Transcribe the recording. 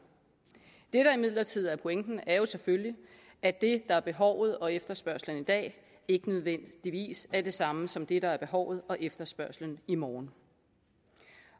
det der imidlertid er pointen er jo selvfølgelig at det der er behovet og efterspørgslen i dag ikke nødvendigvis er det samme som det der er behovet og efterspørgslen i morgen